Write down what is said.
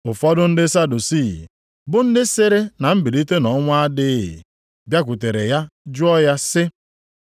Ụfọdụ ndị Sadusii bụ ndị sịrị na mbilite nʼọnwụ adịghị bịakwutere ya jụọ ya sị,